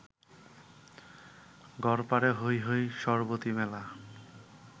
গড়পারে হৈ হৈ সরবতি মেলা